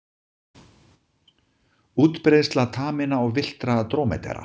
Útbreiðsla taminna og villtra drómedara.